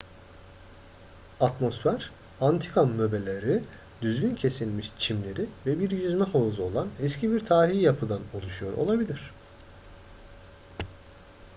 atmosfer antika möbleleri düzgün kesilmiş çimleri ve bir yüzme havuzu olan eski bir tarihi yapıdan oluşuyor olabilir